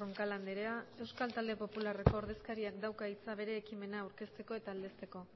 roncal andrea euskal talde popularreko ordezkariak dauka hitza bere ekimena aurkezteko eta aldezteko